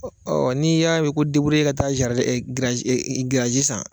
Ɔ n'i y'a mɛn ko deburye ka taa jarien giraji san.